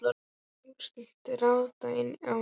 ég gat núllstillt radarinn á ný.